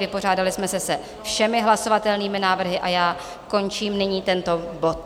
Vypořádali jsme se se všemi hlasovatelnými návrhy a já končím nyní tento bod.